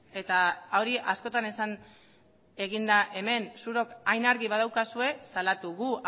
eta hori askotan esan egin da hemen zuek hain argi badaukazue salatu gu